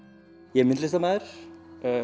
ég er myndlistarmaður